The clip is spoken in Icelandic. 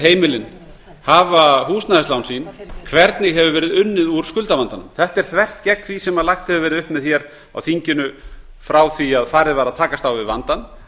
heimilin hafa húsnæðislán sín hvernig hefur verið unnið úr skuldavandanum þetta er þvert gegn því sem lagt hefur verið upp með hér á þinginu frá því farið var að takast á við vandann en